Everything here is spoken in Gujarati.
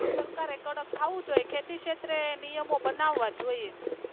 સરકારે કડક થવું જોઈએ ખેતી ક્ષેત્રે નિયમો બનાવ જોઈએ.